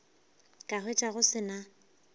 ka hwetša go se na